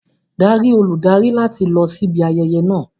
Darí olùdarí láti lọ síbi ayẹyẹ náà.